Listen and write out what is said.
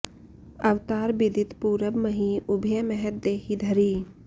अवतार बिदित पूरब मही उभय महत देही धरी